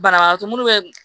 Banabagatɔ munnu bɛ